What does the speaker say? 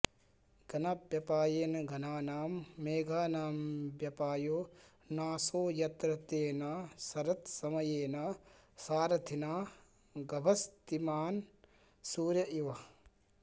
घनव्यपायेन घनानां मेघानां व्यपायो नाशो यत्र तेन शरत्समयेन सारथिना गभस्तिमान्सूर्य इव